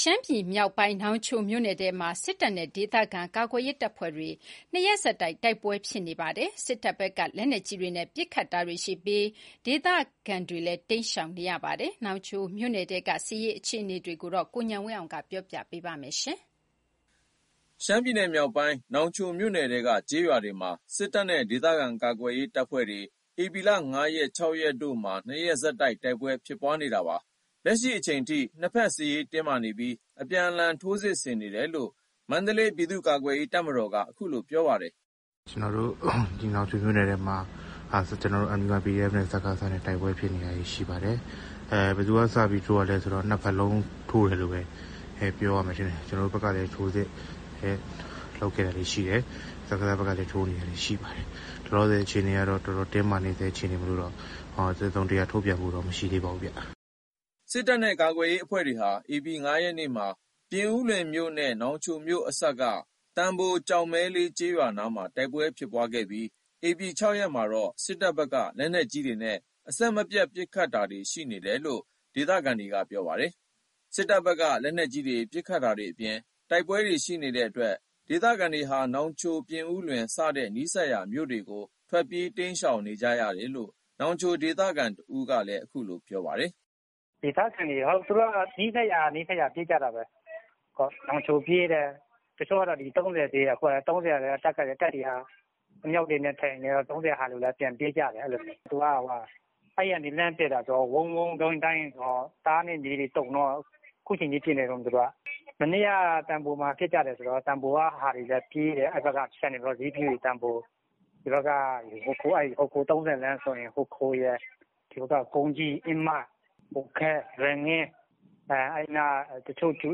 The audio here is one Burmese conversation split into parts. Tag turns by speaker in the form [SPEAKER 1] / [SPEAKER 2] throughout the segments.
[SPEAKER 1] ရှမ်းပြည်မြောက်ပိုင်း နောင်ချိုမြို့နယ်ထဲမှာ စစ်တပ်နဲ့ ဒေသခံကာကွယ်ရေးတပ်ဖွဲ့တွေ ၂ ရက်ဆက်တိုက် တိုက်ပွဲတွေဖြစ်နေတာပါ။ စစ်တပ်ဘက်က လက်နက်ကြီးတွေနဲ့ ပစ်ခတ်တာတွေရှိပြီး ဒေသခံတွေလည်း တိမ်းရှောင်နေရပါတယ်။ နောင်ချိုမြို့နယ်ထဲက စစ်ရေး အခြေအနေတွေကို ကိုဉာဏ်ဝင်းအောင်က ပြောပြပါမယ်။ ရှမ်းပြည်မြောက်ပိုင်း နောင်ချိုမြို့နယ်ထဲက ကျေးရွာတွေမှာ စစ်တပ်နဲ့ ဒေသခံကာကွယ်ရေးတပ်ဖွဲ့တွေ ဧပြီ ၅ ရက်နဲ့ ၆ ရက်တို့မှာ ၂ ရက်ဆက်တိုက် တိုက်ပွဲတွေဖြစ်နေတာပါ။ လက်ရှိအချိန်ထိ နှစ်ဖက် စစ်ရေးတင်းမာနေပြီး အပြန်အလှန် ထိုးစစ် ဆင်နေတယ်လို့ မန္တလေး ပြည်သူ့ကာကွယ်ရေးတပ်မတော်က အခုလို ပြောပါတယ်
[SPEAKER 2] ။ “ကျွန်တော်တို့ ဒီနောင်ချိုမြို့နယ်ထဲမှာ ကျွန်တော်တို့ MDY PDF နဲ့ စကစနဲ့ တိုက်ပွဲဖြစ်နေတာတွေ ရှိပါတယ်။ ဘယ်သူက စပြီး (စစ်ကြောင်း)ထိုးတာလည်းဆိုတော့ နှစ်ဖက်လုံး ထိုးတယ်လို့ပဲ ပြောရမယ်ထင်တယ်။ ကျွန်တော်တို့ဘက်ကလည်း ထိုးစစ် လုပ်ခဲ့တာတွေရှိတယ်။ စကစ ဖက်ကလည်း ထိုးနေတာတွေရှိပါတယ်။ လောလောဆယ် အခြေအနေက တော်တော်တင်းမာနေဆဲ အခြေအနေမို့လို့ တစုံတရာ ထုတ်ပြန်ဖို့တော့ မရှိသေးပါဘူး။”
[SPEAKER 1] စစ်တပ်နဲ့ ကာကွယ်ရေးအဖွဲ့တွေဟာ ဧပြီ ၅ ရက်မှာ ပြင်ဦးလွင်မြို့နဲ့ နောင်ချိုမြို့အစပ်က သံဘို ကျောက်မဲလေး ကျေးရွာတွေနားမှာ တိုက်ပွဲတွေ ဖြစ်ပွားခဲ့ပြီး ဧပြီ ၆ ရက်မှာတော့ စစ်တပ်ဘက်က လက်နက်ကြီးတွေနဲ့ အဆက်မပြတ် ပစ်တာတွေ ရှိနေတယ်လို့ ဒေသခံတွေက ပြောပါတယ်။ စစ်တပ်ဘက်က လက်နက်ကြီးတွေ ပစ်ခတ်တာတွေအပြင် တိုက်ပွဲတွေ ရှိနေတဲ့အတွက် ဒေသခံတွေဟာ နောင်ချို ပြင်ဦးလွင် စတဲ့ နီးစပ်ရာမြို့တွေဘက်ကို ထွက်ပြေးတိမ်းရှောင်ကြတယ်လို့ နောင်ချိုဒေသခံတဦးက အခုလိုပြောပါတယ်။
[SPEAKER 3] “ဒေသခံတွေက သူတို့က နီးစပ်ရာနီးစပ်ရာ ပြေးကြတာပဲ။ နောင်ချို ပြေးတယ်။ တချို့က သုံးဆယ်(ရွာ)ကို ပြေးတယ်။ အခုက တပ်က အမြှောက်တွေနဲ့ချိန်တော့ သုံးဆယ်က ဟာတွေလည်း ပြန်ပြေးကြတယ်။ သူက အဲ့ကနေ လှမ်းပစ်တာဆိုတော့ ဝုန်းဝုန်းဒိုင်းဒိုင်းဆိုတော့ တအားတွေမြေတွေတုန်တော့ သူတို့က အခုချိန်ထိ ပစ်နေတုန်း။ မနေ့က သံဘိုမှာဖြစ်ကြတယ်ဆိုတော့ သံဘိုက ဟာတွေလည်းပြေးတယ်။ ဒီဖက်က ဟိုခို သုံးဆယ်လမ်း ဆိုရင်လည်း ဟိုခို ကုန်းကြီး အင်းမ ဟိုခဲ လွယ်ငင်း အဲ့နားက ကြူ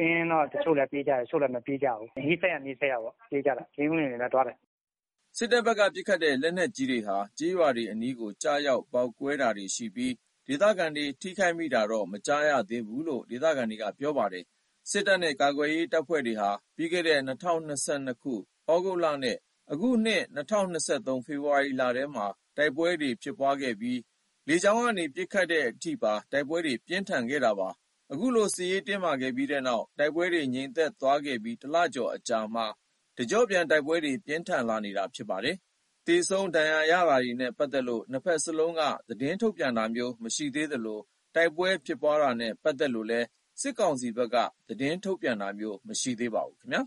[SPEAKER 3] အင်းကတော့ တချို့လည်း ပြေးကြတယ် တချို့လည်း မပြေးကြဘူး။ နီးစပ်ရာ နီးစပ်ရာပေါ့။ ပြင်ဦးလွင်လည်း ပြေးကြတယ်
[SPEAKER 1] ။” စစ်တပ်ဘက်က ပစ်ခတ်တဲ့ လက်နက်ကြီးတွေဟာ ကျေးရွာတွေအနီးကို ကျရောက် ပေါက်ကွဲတာတွေလည်းရှိပြီး ဒေသခံတွေ ထိခိုက်မိတာ မကြားရသေးဘူးလို့ ဒေသခံတွေက ပြောပါတယ်။ စစ်တပ်နဲ့ ကာကွယ်ရေးတပ်ဖွဲ့တွေဟာ ပြီးခဲ့တဲ့ ၂၀၂၂ သြဂုတ်လနဲ့ အခုနှစ် ၂၀၂၃ ဖေဖော်ဝါရီလထဲမှာ တိုက်ပွဲတွေ ဖြစ်ပွားခဲ့ပြီး လေကြောင်းကနေ ပစ်ခတ်တဲ့အထိပါ တိုက်ပွဲတွေ ပြင်းထန်ခဲ့တာပါ။ အခုလို စစ်ရေးတင်းမာခဲ့ပြီးတဲ့နောက် တိုက်ပွဲတွေ ငြိမ်သက်သွားခဲ့ပြီး ၁ လကျော်အကြာမှာ တကျော့ပြန် တိုက်ပွဲတွေ ပြင်းထန်နေတာဖြစ်ပါတယ်။ သေဆုံးဒဏ်ရာရတာနဲ့ ပတ်သက်လို့ နှစ်ဖက်စလုံးက သတင်းထုတ်ပြန်တာ မရှိသေးသလို တိုက်ပွဲဖြစ်ပွားတာနဲ့ ပတ်သက်လို့လည်း စစ်ကောင်စီဘက်က သတင်းထုတ်ပြန်တာ မရှိခဲ့ပါဘူးခင်ဗျာ